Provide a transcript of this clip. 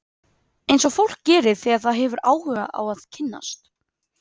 Eins og fólk gerir þegar það hefur áhuga á að kynnast.